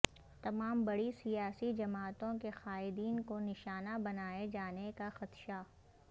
تمام بڑی سیاسی جماعتوں کے قائدین کو نشانہ بنائے جانے کا خدشہ